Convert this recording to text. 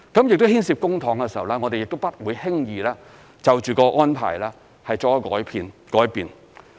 而因為牽涉公帑，我們不會輕易就着安排作出改變。